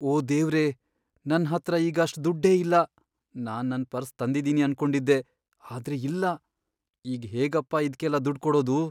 ಓ ದೇವ್ರೇ! ನನ್ಹತ್ರ ಈಗ ಅಷ್ಟ್ ದುಡ್ಡೇ ಇಲ್ಲ, ನಾನ್ ನನ್ ಪರ್ಸ್ ತಂದಿದೀನಿ ಅನ್ಕೊಂಡಿದ್ದೆ. ಆದ್ರೆ ಇಲ್ಲ.. ಈಗ್ ಹೇಗಪ್ಪ ಇದ್ಕೆಲ್ಲ ದುಡ್ಡ್ ಕೊಡೋದು?